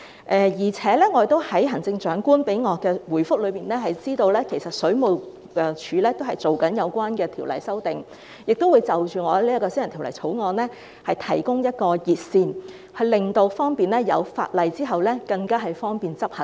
我亦從行政長官給我的回覆得知，其實水務署已就有關條例進行修訂工作，並會就我這項私人條例草案提供一條熱線，方便法案在通過後執行。